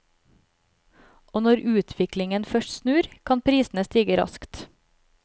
Og når utviklingen først snur, kan prisene stige raskt.